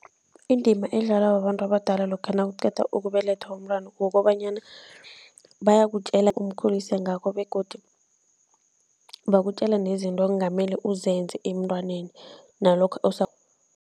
Indima edlalwa babantu abadala lokha nakuqeda ukubelethwa umntwana kukobanyana bayakutjela umkhulise ngakho begodu bakutjela nezinto ongamele uzenze emntwaneni nalokha